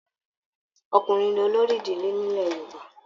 Ọkùnrin ní olórí ìdílé nilẹ̀ Yorùbá.